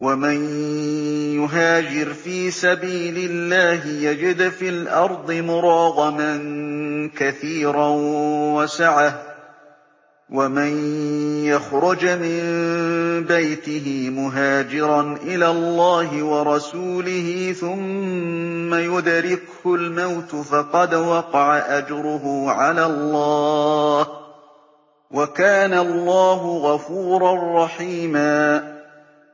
۞ وَمَن يُهَاجِرْ فِي سَبِيلِ اللَّهِ يَجِدْ فِي الْأَرْضِ مُرَاغَمًا كَثِيرًا وَسَعَةً ۚ وَمَن يَخْرُجْ مِن بَيْتِهِ مُهَاجِرًا إِلَى اللَّهِ وَرَسُولِهِ ثُمَّ يُدْرِكْهُ الْمَوْتُ فَقَدْ وَقَعَ أَجْرُهُ عَلَى اللَّهِ ۗ وَكَانَ اللَّهُ غَفُورًا رَّحِيمًا